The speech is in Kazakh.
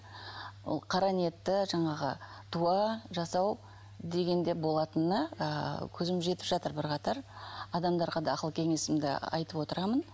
ол қара ниетті жаңағы дуа жасау дегенде болатынына ы көзім жетіп жатыр бірқатар адамдарға да ақыл кеңесімді айтып отырамын